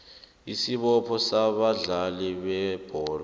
isibopho sabadlali bebholo